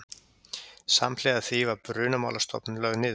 Samhliða því var Brunamálastofnun lögð niður